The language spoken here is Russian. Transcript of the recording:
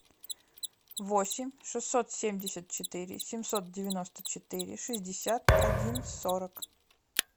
восемь шестьсот семьдесят четыре семьсот девяносто четыре шестьдесят один сорок